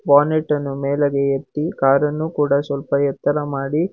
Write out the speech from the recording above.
bonnet ಅನ್ನು ಮೇಲಗೆ ಎತ್ತಿ ಕಾರ ನ್ನು ಕೂಡ ಸ್ವಲ್ಪ ಎತ್ತರ ಮಾಡಿ--